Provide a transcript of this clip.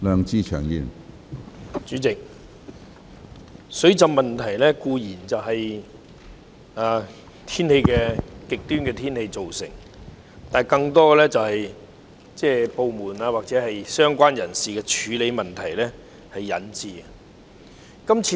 主席，水浸固然是由極端天氣造成，但更多是由於部門或相關人士在處理上出現問題所引致。